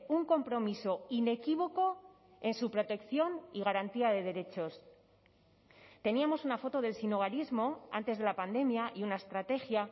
un compromiso inequívoco en su protección y garantía de derechos teníamos una foto del sinhogarismo antes de la pandemia y una estrategia